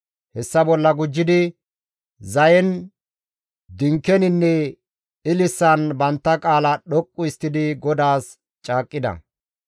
Hessa bolla gujjidi zayen, dinkeninne ililisan bantta qaalaa dhoqqu histtidi GODAAS caaqqida.